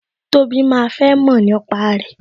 Tobi máa fẹ́ mọ̀ nípa rẹ